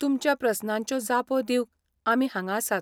तुमच्या प्रस्नांच्यो जापो दिवंक आमी हांगा आसात.